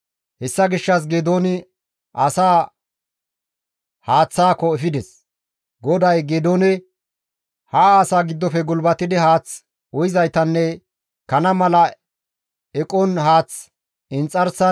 Hessa gishshas Geedooni asaa haaththaako efides; GODAY Geedoone, «Ha asaa giddofe gulbatidi haath uyizaytanne kana mala eqon haath inxarsan lamaci lamaci histtidi uyizayta shaakka» gides.